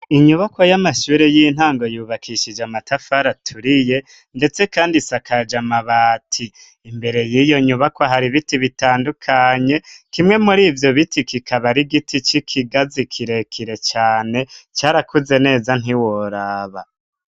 Inyubako y'amashure y'intango yubakishije amatafari aturiye, ndetse kandi isakaje amabati, imbere y'iyo nyubako hari ibiti bitandukanye kimwe muri ivyo biti kikabari igiti c'ikigazi kirekire cane carakuze neza ntiworaba.